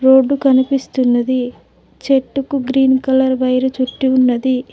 Road కనిపిస్తున్నది చెట్టుకు green colour wire చుట్టి ఉన్నది.